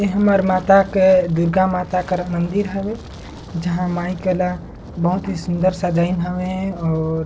ये हमर माता के दुर्गा माता के मंदिर हवे जहाँ माइक वाला बहुत ही सुन्दर सजवइन हवे और--